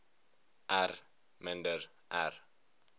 r minder r